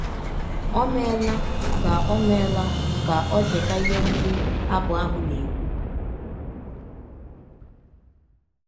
Ọ meela ka ọ meela ka ọ cheta ihe ndị abụ ahụ na - ekwụ.